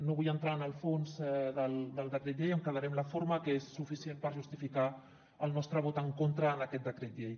no vull entrar en el fons del decret llei em quedaré amb la forma que és suficient per justificar el nostre vot en contra en aquest decret llei